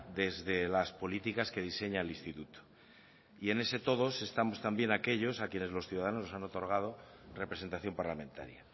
desde las políticas que diseña el instituto y en ese todos estamos también aquellos a quienes los ciudadanos nos han otorgado representación parlamentaria